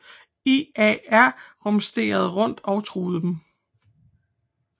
EAR rumsterede rundt og truede dem